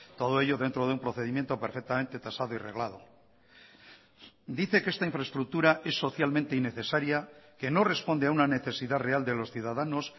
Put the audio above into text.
todo ello dentro de un procedimiento perfectamente tasado y reglado dice que esta infraestructura es socialmente innecesaria que no responde a una necesidad real de los ciudadanos